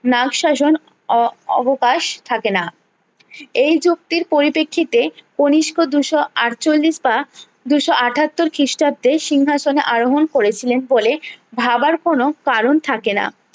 নাগ শাসন অ অবকাশ থাকেনা এই যুক্তির পরিপ্রেক্ষিতে কনিস্ক দুশো আটচল্লিস বা দুশো আটাত্তর খিষ্টাব্দে সিংহাসনে আরোহন করেছিলেন বলে ভাবার কোনো কারণ থাকে না